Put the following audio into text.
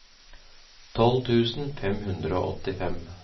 tolv tusen fem hundre og åttifem